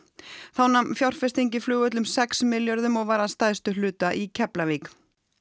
þá nam fjárfesting í flugvöllum sex milljörðum og var að stærstum hluta í Keflavík